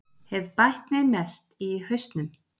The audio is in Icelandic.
Hef bætt mig mest í hausnum